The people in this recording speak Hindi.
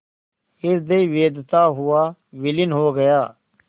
हृदय वेधता हुआ विलीन हो गया